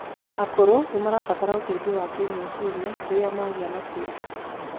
Akũrũ nimabaratara ũteithio wa kimecirĩa rirĩa magia na kieha